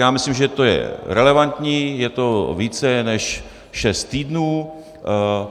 Já myslím, že to je relevantní, je to více než šest týdnů.